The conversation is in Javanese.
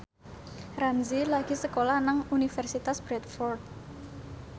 Ramzy lagi sekolah nang Universitas Bradford